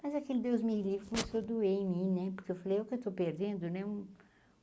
Mas aquele Deus me livre começou a doer em mim né, porque eu falei, olha o que eu estou perdendo, né? um